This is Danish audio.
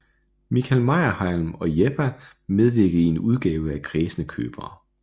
Michael Meyerheim og Yepha medvirkede i en udgave af Kræsne Købere